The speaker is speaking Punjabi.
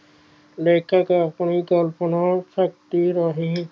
ਲੈਕੇ ਕਾਸਟ ਦੀ ਚੌਂਕੀ ਨੂੰ ਸਸਤੀ ਰਹੀ